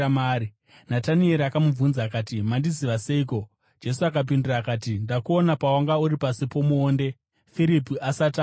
Natanieri akamubvunza akati, “Mandiziva seiko?” Jesu akapindura akati, “Ndakuona pawanga uri pasi pomuonde Firipi asati akudana.”